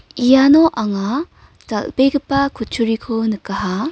iano anga dal·begipa kutturiko nikaha.